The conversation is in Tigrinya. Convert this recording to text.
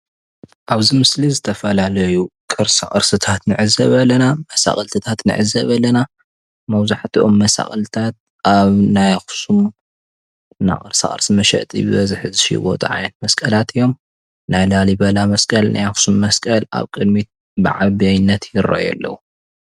ኣብዚ ምስሊ እዚ ዝተፈላለዩ ቅርሳ ቅርሲታት ንዕዘብ ኣለና፡፡ መሳቅልትታት ንዕዘብ ኣለና፡፡ መብዛሕትኦም መሳቅልትታት ኣብ ናይ ኣክሱም ቅርሳ ቅርሲ መሸጢ ብበዝሒ ዝሽወጦ ዓይነት መስቀላት እዮም፡፡ ናይ ላሊበላ መስቀል ፤ናይ ኣክሱም መስቀል ኣብ ቅድሚት ብዓበይንነት ይረኣዩ ኣለዉ።